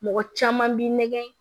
Mɔgɔ caman b'i nɛgɛn